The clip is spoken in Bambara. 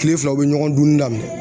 Kile fila u be ɲɔgɔn dunni daminɛ